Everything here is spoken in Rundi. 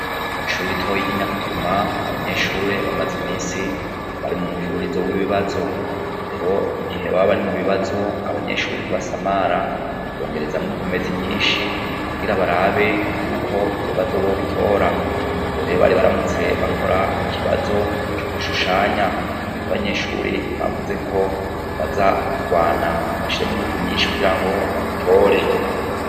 Kw'ishure ritonyi ryi Nyakuguma, abanyeshuri bamaze imisi bari mumufururizo wibibabazo, rero igihe baba bari mubibazo abanyeshure ntibasamare, bumviriza ninkomezi nyinshi kugira barabe ko ibibazo bobitora, ubu rero bari baramutse bakoran ikibazo co gushushanya, abanyeshure bavuze ko baza kurwana bashiramwo inguvu nyinshi kugira ngo babitore.